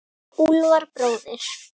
Úlfar bróðir.